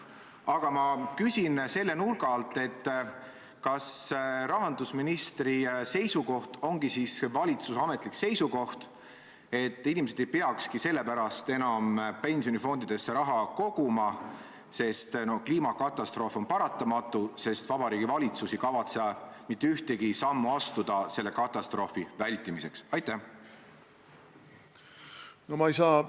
Aga ma küsin selle nurga alt, kas rahandusministri seisukoht on ka valitsuse ametlik seisukoht, et inimesed ei peakski enam pensionifondidesse raha koguma, et kliimakatastroof on paratamatu, sest Vabariigi Valitsus ei kavatse mitte ühtegi sammu astuda selle katastroofi vältimiseks.